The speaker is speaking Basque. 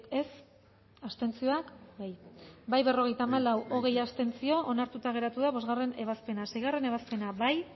ez bozkatu dezakegu bozketaren emaitza onako izan da hirurogeita hamalau eman dugu bozka berrogeita hamalau boto aldekoa hogei abstentzio onartuta geratu da bostgarrena ebazpena seigarrena ebazpena bozkatu